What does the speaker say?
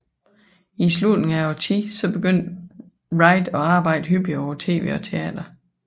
I slutningen af årtiet begyndte Wright at arbejde hyppigere på tv og teater